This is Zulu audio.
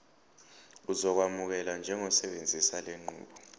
uzokwamukelwa njengosebenzisa lenqubo